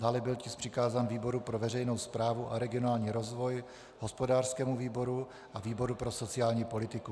Dále byl tisk přikázán výboru pro veřejnou správu a regionální rozvoj, hospodářskému výboru a výboru pro sociální politiku.